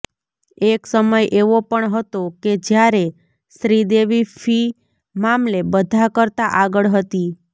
એક સમય એવો પણ હતો કે જ્યારે શ્રીદેવી ફી મામલે બધા કરતાં આગળ હતી